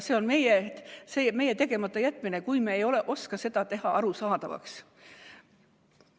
See on meie tegematajätmine, kui me ei oska seda teha arusaadavaks.